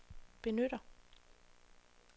benytter